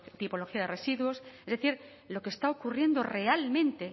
tipología de residuos es decir lo que está ocurriendo realmente